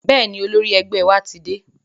Bẹ́ẹ̀ni, olórí ẹgbẹ́ wa ti dé.